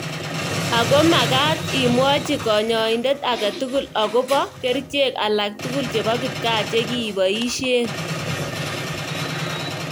Ako makat imwachi kanyaindet ake tugul ako bo kerchek alak tukul che bo kipkaa cheki boishee.